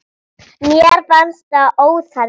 Mér fannst það óþarfi.